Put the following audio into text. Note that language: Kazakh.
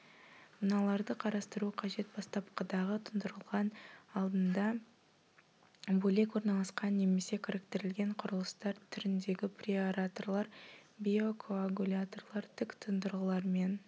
мыналарды қарастыру қажет батсапқыдағы тұндырғылар алдында бөлек орналасқан немесе кіріктірілген құрылыстар түріндегі преаэраторлар биокоагуляторлар тік тұндырғылармен